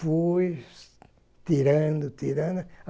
Fui tirando, tirando.